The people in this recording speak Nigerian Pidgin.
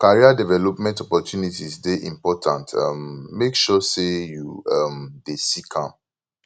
career development opportunities dey important um make sure say you um dey seek am